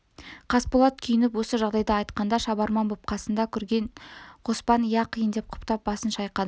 қасболат күйініп осы жағдайды айтқанда шабарман боп қасында жүрген қоспан иә қиын деп құптап басын шайқады